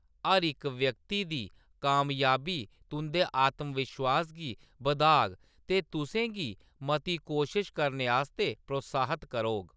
हर इक व्यक्ति दी कामयाबी तुंʼदे आत्मविश्वास गी बधाग ते तुसें गी मती कोशश करने आस्तै प्रोत्साहित करोग।